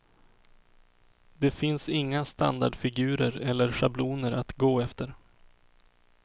Det finns inga standardfigurer eller schabloner att gå efter.